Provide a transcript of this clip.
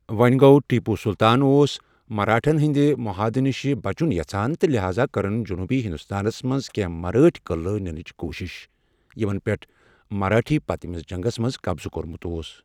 وونہِ گو٘ ٹیپو سلطان اوس مراہٹھٮ۪ن ہِنٛدِ مُہادٕ نِش بچُن یَژھان تہٕ لحاذا كرٕن جنوٗبی ہندوستانس منٛز کٮ۪نٛہہ مرٲٹھۍ قلعہٕ نِنٕچ کوٗشش، یِمن پٮ۪ٹھ مراٹھٮ۪و پٔتۍمِس جنٛگس منٛز قبضہٕ کوٚرمُت اوس ۔